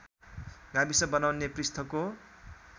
गाविस बनाउन पृष्ठको